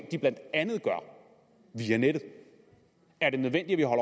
de blandt andet gør via nettet er det nødvendigt at